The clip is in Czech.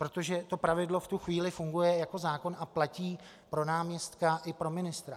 Protože to pravidlo v tu chvíli funguje jako zákon a platí pro náměstka i pro ministra.